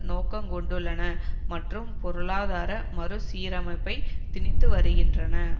நோக்கங்கொண்டுள்ளன மற்றும் பொருளாதார மறுசீரமைப்பை திணித்து வருகின்றன